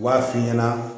U b'a f'i ɲɛna